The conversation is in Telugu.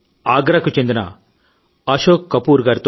ఆయన కుటుంబ సభ్యులు కూడా ఈ కరోనా ఊబిలో చికుక్కుకుపోయిన వారే